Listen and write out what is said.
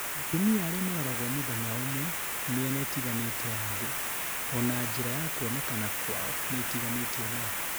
atumia aria maroragwo mũthenya ũmwe mĩena itiganĩte ya thĩ, ona njĩra ya kũonekana kwao ni itiganĩte onayo